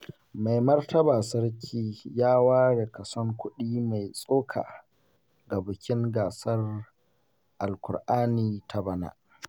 Mai martaba sarki ya ware kason kuɗi mai tsoka ga bikin gasar Alkur'ani ta bana.